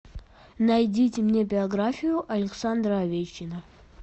найдите мне биографию александра овечкина